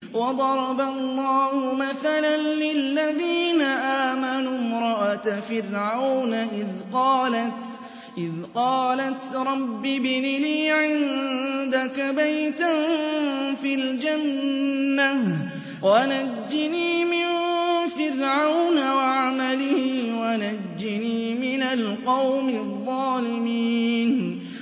وَضَرَبَ اللَّهُ مَثَلًا لِّلَّذِينَ آمَنُوا امْرَأَتَ فِرْعَوْنَ إِذْ قَالَتْ رَبِّ ابْنِ لِي عِندَكَ بَيْتًا فِي الْجَنَّةِ وَنَجِّنِي مِن فِرْعَوْنَ وَعَمَلِهِ وَنَجِّنِي مِنَ الْقَوْمِ الظَّالِمِينَ